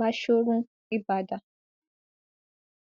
bashorun ibadan